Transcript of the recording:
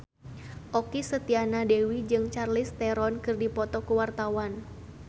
Okky Setiana Dewi jeung Charlize Theron keur dipoto ku wartawan